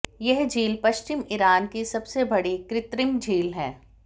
यह झील पश्चिमी ईरान की सबसे बड़ी कृत्रिम झील है